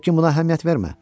Lakin buna əhəmiyyət vermə.